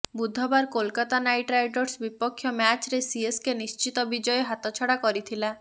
ବୁଧବାର Kolkata knight riders ବିପକ୍ଷ ମ୍ୟାଚରେ ସିଏସକେ ନିଶ୍ଚିତ ବିଜୟ ହାତଛଡ଼ା କରିଥିଲା